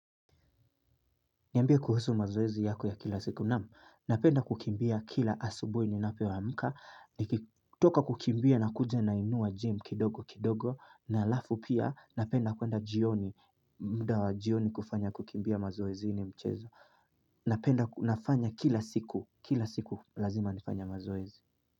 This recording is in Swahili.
Niambe kuhusu mazoezi yako ya kila siku. Naam, napenda kukimbia kila asubui ninapo amka. Nikitoka kukimbia na kuja nainua jym kidogo kidogo. Na alafu pia napenda kwenda jioni. Mda wa jioni kufanya kukimbia mazoezi. Ini mchezo. Napenda nafanya kila siku. Kila siku lazima nifanya mazoezi.